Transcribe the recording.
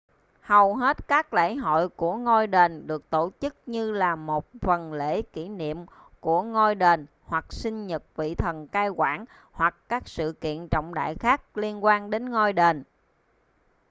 hầu hết các lễ hội của ngôi đền được tổ chức như là một phần lễ kỷ niệm của ngôi đền hoặc sinh nhật vị thần cai quản hoặc các sự kiện trọng đại khác liên quan đến ngôi đền